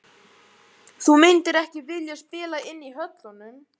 Þú myndir ekki vilja spila inn í höllunum?